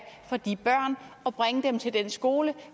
for de børn og bringe dem til den skole